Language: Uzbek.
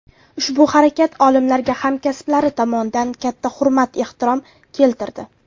Ushbu harakat olimlarga hamkasblari tomonidan katta hurmat-ehtirom keltirdi.